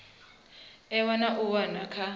ewa na u wana kha